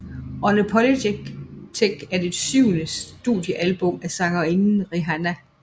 Unapologetic er det syvende studiealbum af sangerinden Rihanna